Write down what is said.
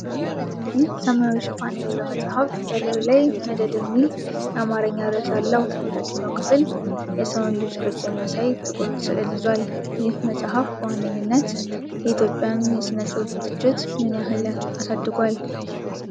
ይህ ሰማያዊ ሽፋን ያለው መጽሐፍ በላዩ ላይ"መደድ" ሚል የአማርኛ ርዕስ አለው። የታችኛው ክፍል የሰውን ልጅ ቅርፅ የሚያሳይ ጥቁር ሥዕል ይዟል። ይህ መጽሐፍ በዋነኛነት የኢትዮጵያን የሥነ ጽሑፍ ትችት ምን ያህል አሳድጓል?